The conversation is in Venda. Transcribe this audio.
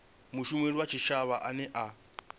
mushumeli wa tshitshavha ane a